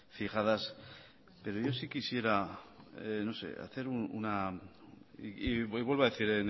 fijadas pero yo sí quisiera no sé hacer una y vuelvo a decir